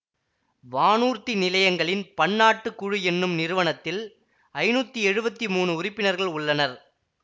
வானூர்தி நிலையங்களின் பன்னாட்டு குழு என்னும் நிறுவனத்தில் ஐநூத்தி எழுவத்தி மூனு உறுப்பினர்கள் உள்ளனர்